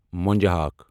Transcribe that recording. مونجہٕ ہاکھ